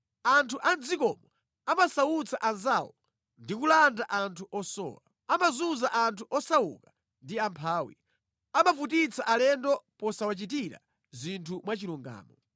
Anthu a mʼdzikomo amasautsa anzawo ndi kulanda anthu osowa. Amazunza anthu osauka ndi amphawi. Amavutitsa alendo posawachitira zinthu mwachilungamo.